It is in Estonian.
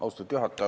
Austatud juhataja!